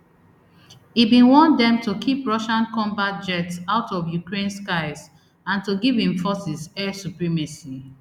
e bin want dem to keep russian combat jets out of ukraine skies and to give im forces air supremacy